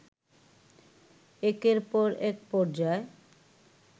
একের পর এক পর্যায়